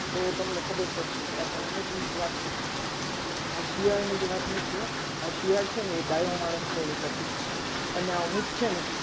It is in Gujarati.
તો તમને ખબર પડશે. કે આ કંઈ ઊંટની જ વાત નથી હો. આ શિયાળની જ વાત નથી હો. આ શિયાળ છે ને એ ડાયો માણસ છે એનું પ્રતીક છે અને ઊંટ છે ને